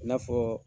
I n'a fɔ